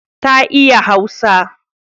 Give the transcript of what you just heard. Ta iya Hausa.